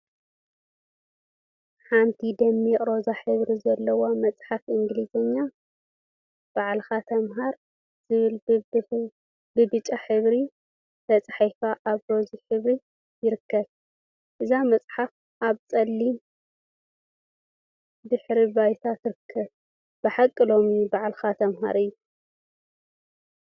ሓንቲ ደሚቅ ሮዛ ሕብሪ ዘለዋ መፅሓፍ እንግሊዝኛ፣ ባዕልካ ተመሃር ዝብል ብብጫ ሕብሪ ተፃሒፉ አብ ሮዛ ሕብሪ ይርከብ፡፡ እዛ መፅሓፍ አብ ፀሊም ድሕረ ባይታ ትርከብ፡፡ ብሓቂ ሎሚ ባዕልካ ተመሃር እዩ ፡፡